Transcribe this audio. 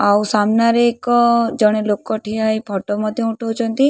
ଆଉ ସାମ୍ନାରେ ଏକ ଜଣେ ଲୋକ ଠିଆ ହୋଇ ଫଟୋ ମଧ୍ୟ ଉଠଉଛନ୍ତି।